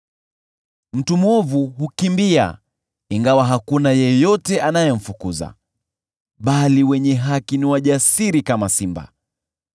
Mtu mwovu hukimbia ingawa hakuna yeyote anayemfukuza, bali wenye haki ni wajasiri kama simba.